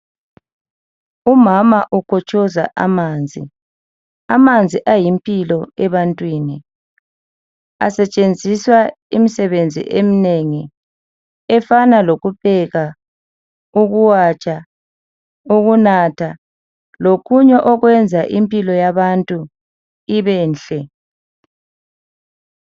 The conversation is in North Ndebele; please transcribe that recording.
Umama ukotshoza amanzi, amanzi ayimpilo ebantwini. Asetshenziswa imsebenzi eminengi efana lokupheka, ukuwatsha ukunatha lokunye okwenza impilo ibenhle.